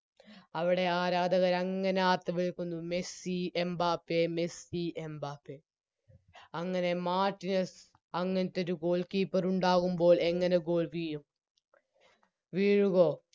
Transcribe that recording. അവിടെ ആരാധകരങ്ങനെ ആർത്തുവിളിക്കുന്നു മെസ്സി എംബപ്പേ മെസ്സി എംബപ്പേ അങ്ങനെ മാർട്ടിനസ്സ് അങ്ങത്തൊരു Goalkeeper ഉണ്ടാവുമ്പോൾ എങ്ങനെ Goal വീഴും വീഴുമോ